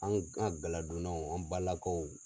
An an gala donnaw an ba lakaw.